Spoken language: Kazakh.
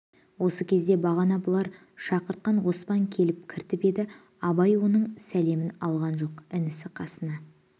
осы кезде бағана бұлар шақыртқан оспан келіп кіріп еді абай оның сәлемін алған жоқ інісі қасына